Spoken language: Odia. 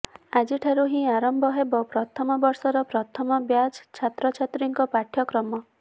ଆଜିଠାରୁ ହିଁ ଆରମ୍ଭ ହେବ ପ୍ରଥମ ବର୍ଷର ପ୍ରଥମ ବ୍ୟାଚ୍ ଛାତ୍ରଛାତ୍ରୀଙ୍କ ପାଠ୍ୟକ୍ରମ